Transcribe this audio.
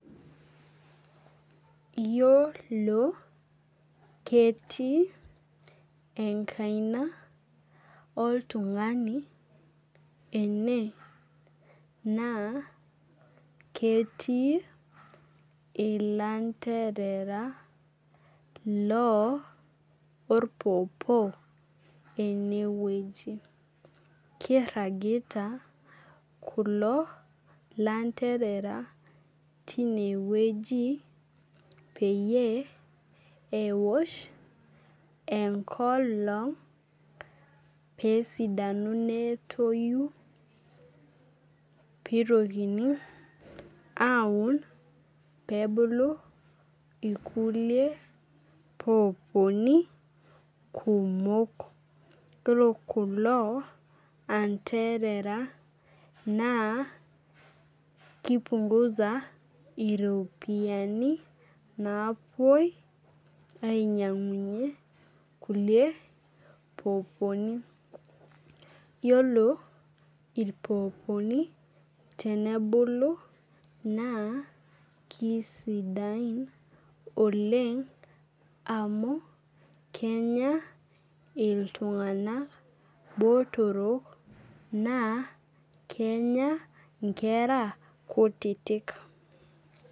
Iyiolo ketii enkaina oltung'ani ene naa ketii ilanterera loo orpopo eneweji. Keiragira kulo lanterea tineweji peyie enkolong' pesidanu netoyu pitokini aun pebulu irkulie poponi kumok. Iyiolo kulo anterera naa kipunguza iropiani napoi ainyang'unye kulie poponi. Yiolo irpoponi tenebulu naa kisidai oleng' amu kenya iltung'ana botor naa kenya inkera kutitik